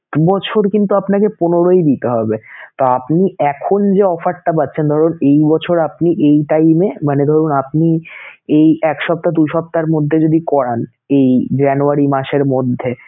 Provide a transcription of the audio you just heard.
বছর কিন্তু আপনাকে পনেরোই দিতে হবে তো আপনি এখন যে offer টা পাচ্ছেন ধরুন এই বছর আপনি এই time এ মানে ধরুন আপনি এই এক সপ্তাহ দুই সপ্তাহের মধ্যে যদি করান, এই january মাসের মধ্যে